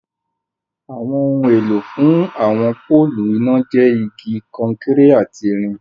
Awọn ọhun èlọ̀ fún awọn pọ̀lụ́ iná jẹ́ igi, kọ̀nkéré àti ìrìn